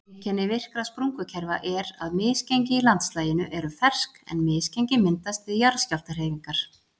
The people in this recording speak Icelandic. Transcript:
Einkenni virkra sprungukerfa er að misgengi í landslaginu eru fersk en misgengi myndast við jarðskjálftahreyfingar.